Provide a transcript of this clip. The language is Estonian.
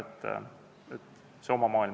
On tekkinud see oma maailm.